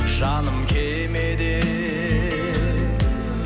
жаным кемеде